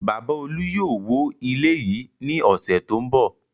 Bàbá Olú yóò wó ilé yìí ní ọ̀sẹ̀ tó ń bọ̀.